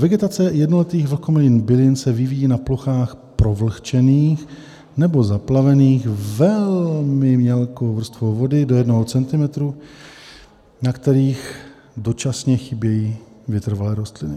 Vegetace jednoletých vlhkomilných bylin se vyvíjí na plochách provlhčených nebo zaplavených velmi mělkou vrstvou vody - do 1 cm, na kterých dočasně chybějí vytrvalé rostliny.